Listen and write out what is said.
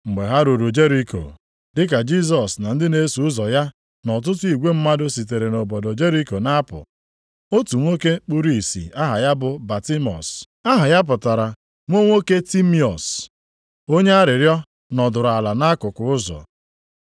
Mgbe ha ruru Jeriko, dị ka Jisọs na ndị na-eso ụzọ ya na ọtụtụ igwe mmadụ sitere nʼobodo Jeriko na-apụ, otu nwoke kpuru ìsì aha ya bụ Batimiọs (aha ya pụtara “nwa nwoke Timiọs”), onye arịrịọ nọdụrụ ala nʼakụkụ ụzọ.